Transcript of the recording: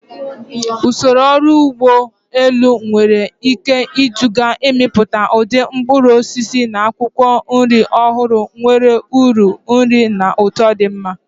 Usoro ọrụ ugbo dị elu nwere ike iduga n'ịmepụta ụdị mkpụrụ osisi na akwụkwọ nri ọhụrụ nwere uru nri na ụtọ dị mma.